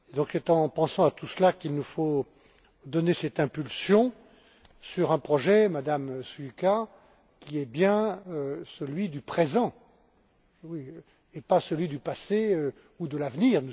C'est en pensant à tout cela qu'il nous faut donner cette impulsion sur un projet, Madame Šuica, qui est bien celui du présent et pas celui du passé ou de l'avenir.